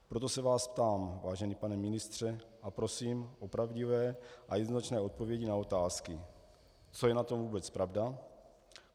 Proto se vás ptám, vážený pane ministře, a prosím o pravdivé a jednoznačné odpovědi na otázky: Co je na tom vůbec pravda?